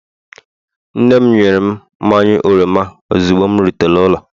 Nne'm nyere m mmanya oroma ozugbo m rutere n'ụlọ